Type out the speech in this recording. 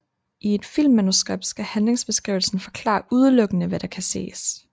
I et filmmanuskript skal handlingsbeskrivelsen forklare udelukkende hvad der kan ses